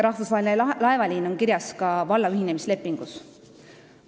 Rahvusvaheline laevaliin on kirjas ka omavalitsuste ühinemislepingus.